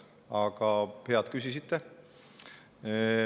Aga hea, et küsisite.